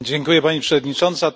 Pani Przewodnicząca!